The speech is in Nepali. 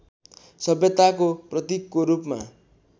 सभ्यताको प्रतीकको रूपमा